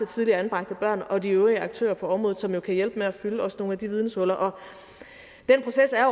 tidligere anbragte børn og de øvrige aktører på området som jo også kan hjælpe med at fylde nogle af de videnshuller og den proces er